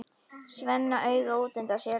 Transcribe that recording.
Svenna auga útundan sér.